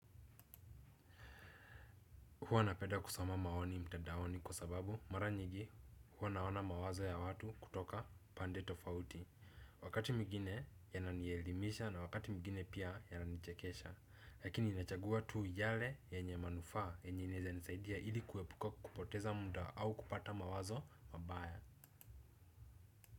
Huwa napeda kusoma maoni mtadaoni kwa sababu mara nyingi huwa naona mawazo ya watu kutoka pande tofauti. Wakati mwigine ya nanielimisha na wakati mwigine pia yananichekesha. Lakini inachagua tu yale yenye manufaa yenye inaweza nisaidia ili kuepuka kupoteza muda au kupata mawazo mabaya.